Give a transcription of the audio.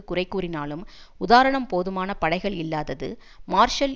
குறைகூறினாலும் உதாரணம் போதுமான படைகள் இல்லாதது மார்ஷல்